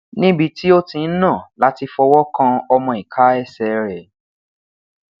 nibi ti o ti n na lati fọwọ kan ọmọ ika ẹsẹ rẹ